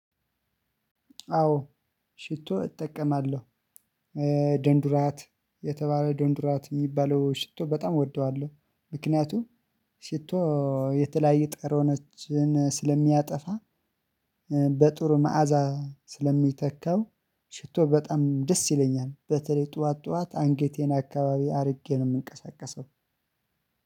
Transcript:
አዎ ሽቶ እጠቀማለሁ። ደንዱራት የተባለ ደንዱራት የሚባለው ሽቶ በጣም እወደዋለሁ ምክንያቱም ሽቶ የተለያየ ጠረነችን ስለሚያጠፋ። በጥሩ መዓዛ ስለሚተካው ሽቶ በጣም ደስ ይለኛል። በተለይ ጠዋት ጠዋት አንገቴን አካባቢ አድርጌ ነው የምንቀሳቀሰው።